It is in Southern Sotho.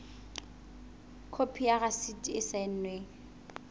khopi ya rasiti e saennweng